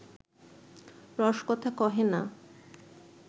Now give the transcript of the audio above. রসকথা কহে না